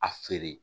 A feere